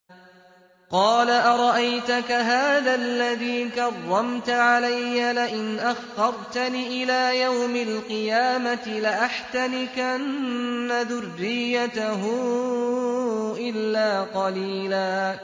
قَالَ أَرَأَيْتَكَ هَٰذَا الَّذِي كَرَّمْتَ عَلَيَّ لَئِنْ أَخَّرْتَنِ إِلَىٰ يَوْمِ الْقِيَامَةِ لَأَحْتَنِكَنَّ ذُرِّيَّتَهُ إِلَّا قَلِيلًا